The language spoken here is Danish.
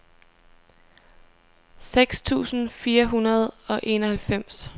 seks tusind fire hundrede og enoghalvfems